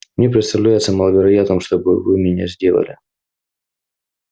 мне представляется маловероятным чтобы вы меня сделали